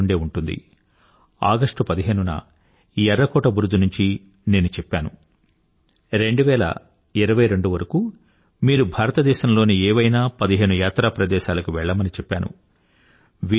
మీకు గుర్తుందే ఉంటుంది ఆగస్టు 15న ఎర్ర కోట బురుజు నుండి నేను చెప్పాను 2022 వరకూ మీరు భారతదేశంలోని ఏవైనా పదిహేను యాత్రా ప్రదేశాలకు వెళ్లమని చెప్పాను